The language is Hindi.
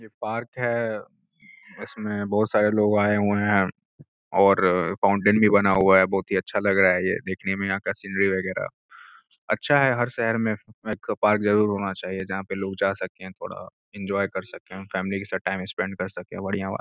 पार्क है इसमें बहुत सारे लोग आए हुए हैं और फाउंटेन भी बना हुआ है बहुत ही अच्छा लग रहा है यह देखने में यहां का सिनरी वगैरह अच्छा है हर शहर में एक पार्क जरूर होना चाहिए जहां पर लोग जा सके थोड़ा इंजॉय कर सके फैमिली के साथ टाइम स्पेंड कर सके बढ़िया बात --